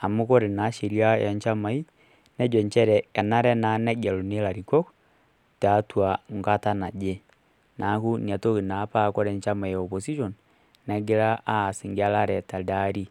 amu ore naa sheria oonchamai nejo inchere enare naa negeluni ilarikok enkata naje neeku ina naa paa ore enchama e opposition negiraa aas engelare telede aari.